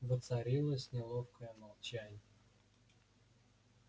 воцарилось неловкое молчание